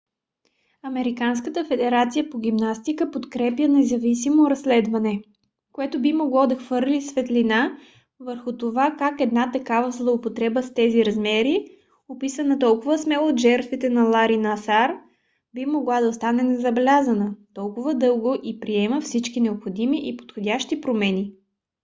американската федерация по гимнастика подкрепя независимо разследване което би могло да хвърли светлина върху това как една такава злоупотреба с тези размери описана толкова смело от жертвите на лари насар би могла да остане незабелязана толкова дълго и приема всички необходими и подходящи промени